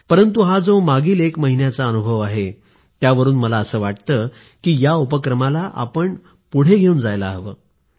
परंतु हा जो मागील एक महिन्याचा अनुभव आहे त्यावरून मला असं वाटतं की या उपक्रमाला आपण पुढे घेऊन जायला हवं